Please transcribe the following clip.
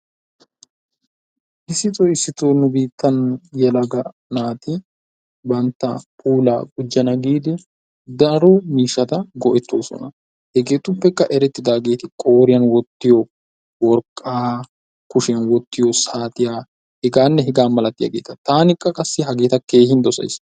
issitoo issitoo nu biittan yelagaa naati bantta puulaa gujjana giidi daro miihshata go''ettoosna, hegetuppekka eretidaageeti qooriyaan wottiyo worqqaa, kushiyaan wottiyo saatiya heganne hegaa malatiyaageeta. taani qassi hageeta kehin dossays.